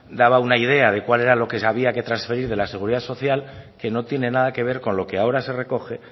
daba una idea de cuál era lo que se había que transferir de la seguridad social que no tiene nada que ver con lo que ahora se recoge